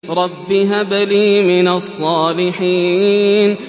رَبِّ هَبْ لِي مِنَ الصَّالِحِينَ